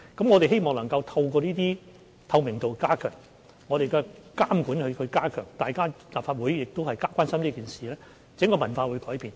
我們希望透過加強透明度、加強監管，加上立法會的關注，可以改變整個文化。